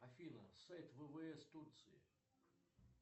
афина сайт ввс турции